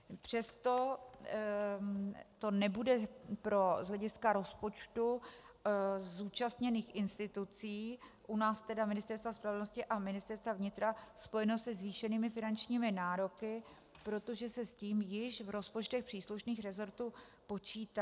Přesto to nebude z hlediska rozpočtu zúčastněných institucí, u nás tedy Ministerstva spravedlnosti a Ministerstva vnitra, spojeno se zvýšenými finančními nároky, protože se s tím již v rozpočtech příslušných resortů počítá.